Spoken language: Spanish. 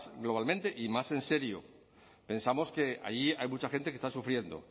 globalmente y más en serio pensamos que ahí hay mucha gente que está sufriendo